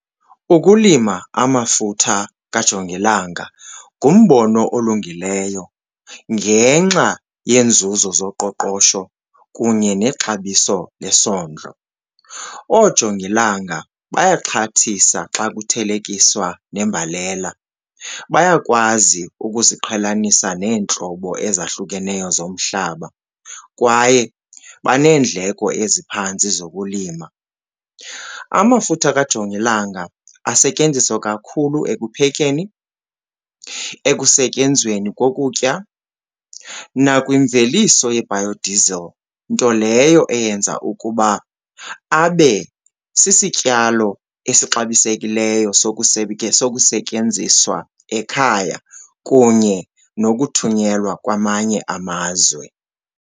Ukulima amafutha kajongilanga ngumbono olungileyo ngenxa yenzuzo zoqoqosho kunye nexabiso lesondlo. Oojongilanga bayaxhathisa xa kuthelekiswa nembalela, bayakwazi ukuziqhelanisa neentlobo ezahlukeneyo zomhlaba kwaye baneendleko eziphantsi zokulima. Amafutha kajongilanga asetyenziswa kakhulu ekuphekeni, ekusetyenzweni kokutya nakwimveliso ye-biodiesel, nto leyo eyenza ukuba abe sisityalo esixabisekileyo sokusetyenziswa ekhaya kunye nokuthunyelwa kwamanye amazwe.